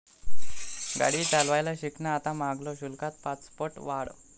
गाडी चालवायला शिकणं आता महागल, शुल्कात पाचपट वाढ